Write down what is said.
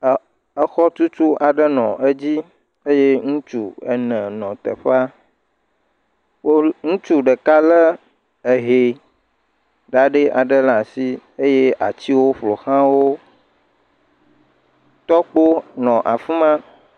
Exɔtutu aɖe nɔ edzi eye ŋutsu ene nɔ teƒea. Wo, ŋutsu ɖeka lé eh0 ɖaɖɛ aɖe ɖe ashi eye atsiwo ƒoʋlã wo. Tɔkpo nɔ afi ma.